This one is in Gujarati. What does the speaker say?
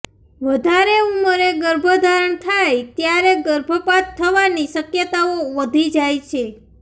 વધારે ઉંમરે ગર્ભધારણ થાય ત્યારે ગર્ભપાત થવાની શકયતાઓ વધી જાય છે